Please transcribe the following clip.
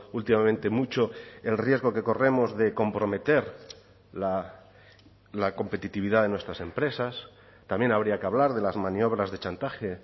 últimamente mucho el riesgo que corremos de comprometer la competitividad de nuestras empresas también habría que hablar de las maniobras de chantaje